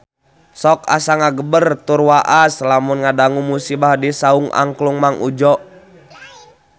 Sok asa ngagebeg tur waas lamun ngadangu musibah di Saung Angklung Mang Udjo